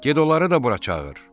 Get onları da bura çağır.